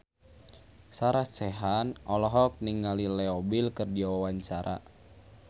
Sarah Sechan olohok ningali Leo Bill keur diwawancara